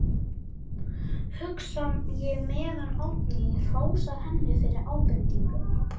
hugsa ég meðan Oddný hrósar henni fyrir ábendinguna.